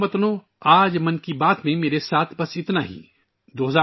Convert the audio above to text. میرے پیارے ہم وطنو، آج 'من کی بات' میں میرے ساتھ بس اتنا ہی